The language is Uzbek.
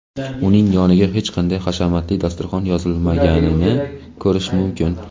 uning yoniga hech qanday hashamatli dasturxon yozilmaganini ko‘rish mumkin.